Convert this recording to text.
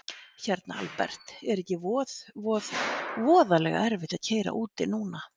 Hérna Albert, er ekki voð voð voðalega erfitt að keyra úti núna?